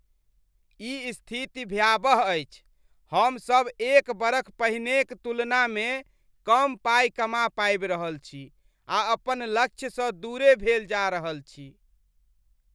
ई स्थिति भयावह अछि! हम सभ एक बरख पहिनेक तुलनामे कम पाइ कमा पाबि रहल छी, आ अपन लक्ष्यसँ दूरे भेल जा रहल छी।